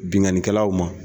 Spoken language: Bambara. Binkanikɛlaw ma